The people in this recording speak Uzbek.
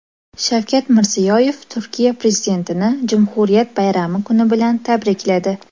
Shavkat Mirziyoyev Turkiya prezidentini Jumhuriyat bayrami kuni bilan tabrikladi.